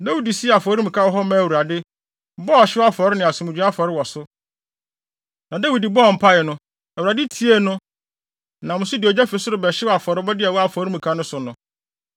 Dawid sii afɔremuka wɔ hɔ maa Awurade, bɔɔ ɔhyew afɔre ne asomdwoe afɔre wɔ so. Na Dawid bɔɔ mpae no, Awurade tiee no, nam so de ogya fi soro bɛhyew afɔrebɔde a ɛwɔ afɔremuka no so no.